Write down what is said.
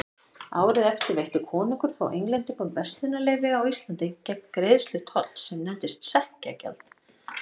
Árið eftir veitti konungur þó Englendingum verslunarleyfi á Íslandi gegn greiðslu tolls sem nefndist sekkjagjald.